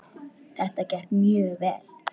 Þetta gekk mjög vel.